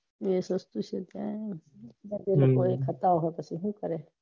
એ સસ્તું છે ત્યાં એ ઓકો ખાતા હોઈ તો સુ કરે